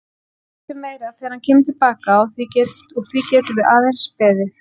Við vitum meira þegar hann kemur til baka og því getum við aðeins beðið.